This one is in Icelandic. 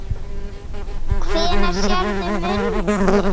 Hvenær sérðu muninn?